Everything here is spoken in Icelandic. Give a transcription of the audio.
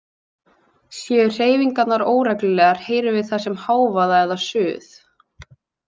Séu hreyfingarnar óreglulegar heyrum við þær sem hávaða eða suð.